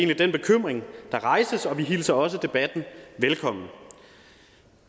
den bekymring der rejses og vi hilser også debatten velkommen